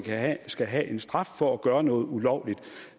skal have en straf for at gøre noget ulovligt